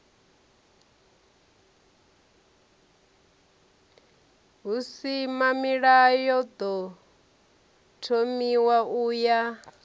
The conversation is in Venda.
husimamilayo ḓo thomiwaho u ya